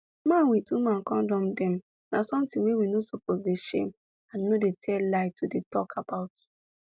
man with woman kondom dem na something wey we no suppose dey shame and no dey tell lie to dey talk about